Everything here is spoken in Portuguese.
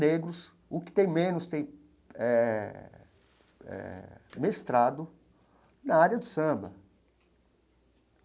negros, o que tem menos tem eh eh mestrado na área do samba.